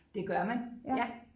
Det gør man ja